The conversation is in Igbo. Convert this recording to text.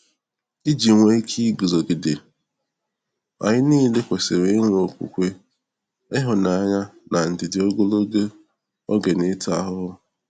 Iji nwee ike iguzogide, anyị niile kwesịrị inwe okwukwe, ịhụnanya, na ndidi ogologo oge n'ịta ahụhụ.